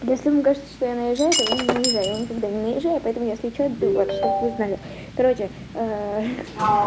да если мне кажется что я наезжаю то я не наезжаю я никогда не наезжаю поэтому если что вот чтоб вы знали короче